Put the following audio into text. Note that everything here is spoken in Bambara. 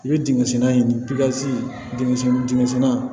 I bɛ dingɛsen dingɛsen dingɛsenna